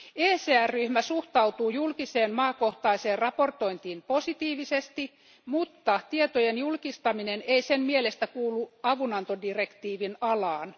ECR ryhmä suhtautuu julkiseen maakohtaiseen raportointiin positiivisesti, mutta tietojen julkistaminen ei sen mielestä kuulu avunantodirektiivin alaan.